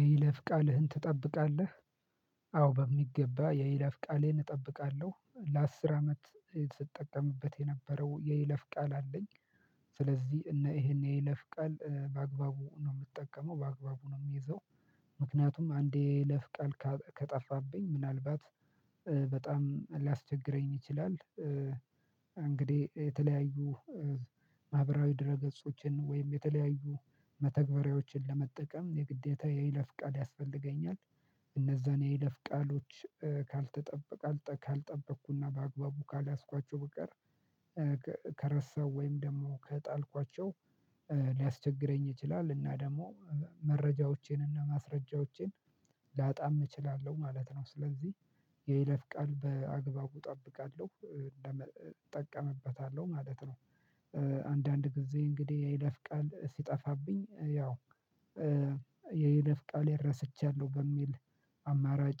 የይለፍ ቃልህን ትጠብቃለህ? አዎ በሚገባ የይለፍ ቃሌን እጠብቃለሁ ለአስር አመት ስትጠቀምበት የነበረው የይለፍ ቃል አለኝ። ስለዚህ ይሄን የይለፍ ቃል በአግባቡ ነው የምትጠቀመው በአግባቡ ነው የሚይዘው። ምክንያቱም አንዴ ለፍ ቃል ከጠፋብኝ ምናልባት በጣም ሊያስቸግረኝ ይችላል። እንግዲህ የተለያዩ ማህበራዊ ድረ ገጾችን ወይም የተለያዩ መተግበሪያዎችን ለመጠቀም የግዴታ የይለፍ ቃል ያስፈልገኛል። እነዛን የይለፍ ቃሎች ካልተጠበቀ ካልጠበቅኩና በአግባቡ ካልያዝኳቸው በቀር። ከረሳው ወይም ደግሞ ከጣልኳቸው ሊያስቸግረኝ ይችላል። እና ደግሞ መረጃዎቼን እና ማስረጃዎቼን ላጣም እችላለሁ ማለት ነው። ስለዚህ የይለፍ ቃል በአግባቡ እጠብቃለሁ እጠቀምበታለሁ ማለት ነው። አንዳንድ ጊዜ እንግዲህ የይለፍ ቃል ሲጠፋብኝ ያው የይለፍ ቃል ረሳቻለሁ በሚል አማራጭ